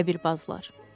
Qəbirbazlar.